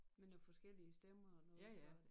Med noget forskellige stemmer og noget og